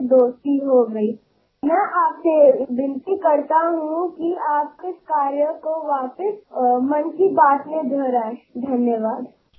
मन की बातमध्ये याबाबत तुम्ही पुन्हा एकदा सांगावे अशी माझी आपल्याला विनंती आहे